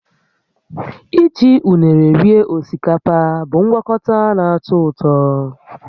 Iji unere rie osikapa bụ ngwakọta na-atọ ụtọ